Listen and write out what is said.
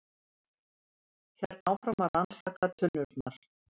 Hélt áfram að rannsaka tunnurnar.